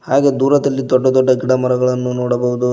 ಹಾಗೆ ದೂರದಲ್ಲಿ ದೊಡ್ಡ ದೊಡ್ಡ ಗಿಡ ಮರಗಳನ್ನು ನೋಡಬಹುದು.